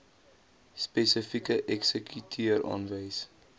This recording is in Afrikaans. spesifieke eksekuteur aanwys